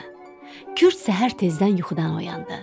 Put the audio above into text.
Kürd səhər tezdən yuxudan oyandı.